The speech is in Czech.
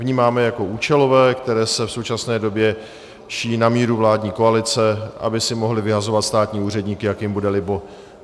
Vnímáme je jako účelové, které se v současné době šijí na míru vládní koalice, aby si mohli vyhazovat státní úředníky, jak jim bude libo.